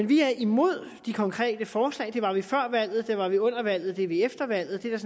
vi er imod de konkrete forslag det var vi før valget det var vi under valget og det er vi efter valget det er